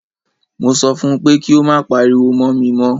Mo sọ fún pé kí o má pariwo mọ́ mi mọ́!